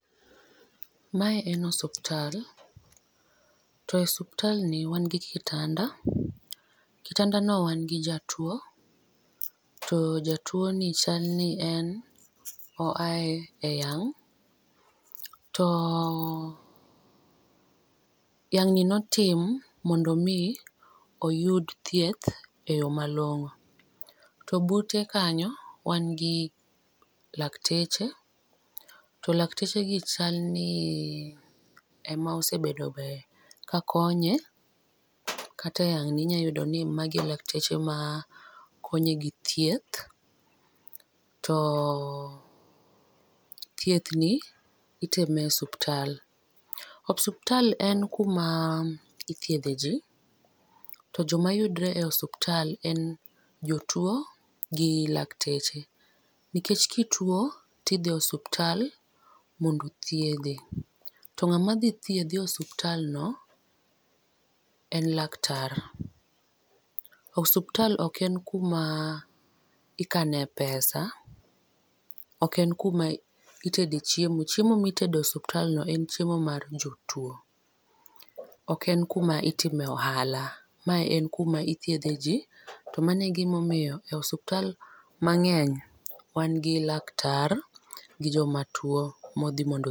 Ma en osiptal to osiptal ni wan gi kitanda, kitanda ni wan gi jatuo to jatuo no chal ni oya e yang'. To yang' ni ne otim mondo mi oyud thieth e yo ma long'o. To bute kanyo wan gi lakteche to lakteche gi chal ni ma osebedo be ka konye kata e yang' ni inya yudo magi e lakteche ma konye gi thieth, to thieth ni itime e osiptal . Osiptal en kuma ithiedhe ji to jo ma uyudore e osiptal gin jotuo gi lakteche nikech ki ituo ti idhi osiptal mondo othiedhi to ng'ama dhi thiedhi e ospiptal no en laktar. Osiptal ok en ku ma ikane pesa , ok en kuma itede e chiemo, chiemo mi itede e ospital no en chiemo mar jotuo. Ok en ku ma itime ohala, ma en kuma ithiedhe ji to mano e gi ma omiyo e osiptal mangeny wan gi laktar gi jo ma tuo ma odhi.